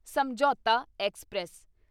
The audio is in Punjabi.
ਸਮਝੌਤਾ ਐਕਸਪ੍ਰੈਸ